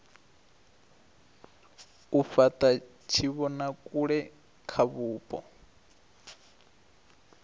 u fhata tshivhonakule kha vhupo